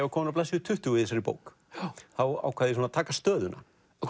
var kominn á blaðsíðu tuttugu í þessari bók ákvað ég að taka stöðuna